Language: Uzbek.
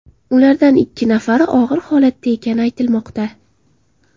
Ulardan ikki nafari og‘ir holatda ekani aytilmoqda.